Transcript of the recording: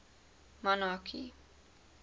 monarchy